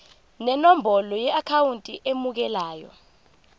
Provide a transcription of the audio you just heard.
nenombolo yeakhawunti emukelayo